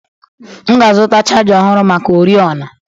M ga-azụta chaja ọhụrụ maka oriọna.